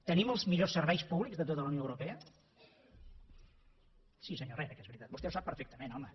tenim els millors serveis públics de tota la unió europea sí senyor herrera que és veritat vostè ho sap perfectament home